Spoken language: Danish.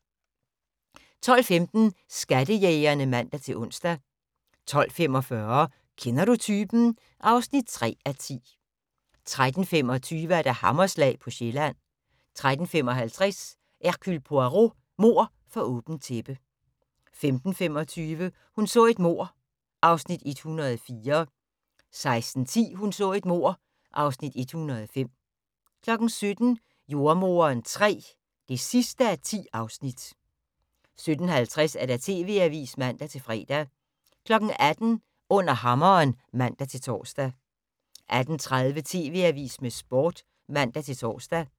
12:15: Skattejægerne (man-ons) 12:45: Kender du typen? (3:10) 13:25: Hammerslag på Sjælland 13:55: Hercule Poirot: Mord for åbent tæppe 15:25: Hun så et mord (Afs. 104) 16:10: Hun så et mord (Afs. 105) 17:00: Jordemoderen III (10:10) 17:50: TV Avisen (man-fre) 18:00: Under hammeren (man-tor) 18:30: TV Avisen med Sporten (man-tor)